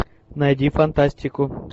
найди фантастику